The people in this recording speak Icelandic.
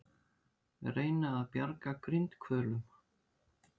Reyna að bjarga grindhvölum